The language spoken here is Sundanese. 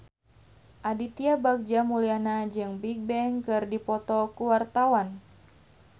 Aditya Bagja Mulyana jeung Bigbang keur dipoto ku wartawan